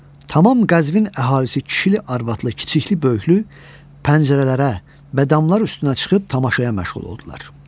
Tamam Qəzvin əhalisi kişili, arvadlı, kiçikli, böyüklü pəncərələrə və damlar üstünə çıxıb tamaşayla məşğul oldular.